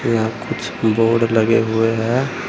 यहां कुछ बोर्ड लगे हुए हैं।